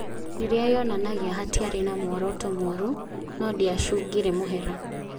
Rĩrĩa yonanagia hatiarĩ na muoroto mũru, no ndĩacungire mũhera.